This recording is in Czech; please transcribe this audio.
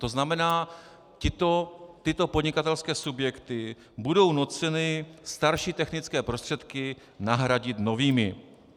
To znamená, tyto podnikatelské subjekty budou nuceny starší technické prostředky nahradit novými.